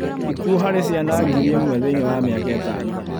Ikuũ harĩ ciana ngiri ĩmwe thĩinĩ wa mĩaka ĩtano